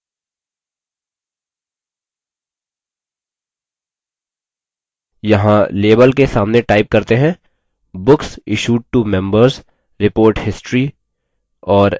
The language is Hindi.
यहाँ label के सामने टाइप करते हैं books issued to members: report history और enter दबाते हैं